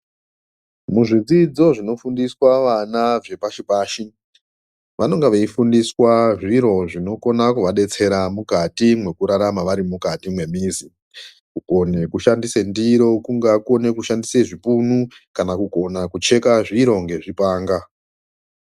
Muzvidzidzo zvinofundiswa vana zvepashi pashi vanonga veifundiswa zviro zvinokona kuvadetsera mukati mwekurarama vari mukati mwemizi kukone kushandisa ndiro kungaa kukone kushandise zvipunu kana kugone kucheka zviro ngezvipanga.